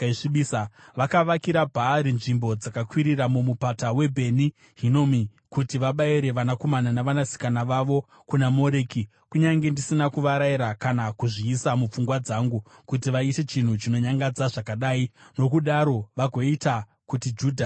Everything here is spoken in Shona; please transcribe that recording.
Vakavakira Bhaari nzvimbo dzakakwirira muMupata weBheni Hinomi kuti vabayire vanakomana navanasikana vavo kuna Moreki, kunyange ndisina kuvarayira, kana kuzviisa mupfungwa dzangu, kuti vaite chinhu chinonyangadza zvakadai, nokudaro vagoita kuti Judha itadze.